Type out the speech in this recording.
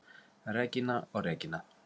Regína og Regína.